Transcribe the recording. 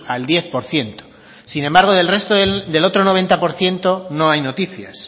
al diez por ciento sin embargo del resto del otro noventa por ciento no hay noticias